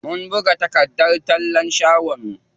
Mun buga takardar tallan shagon mu.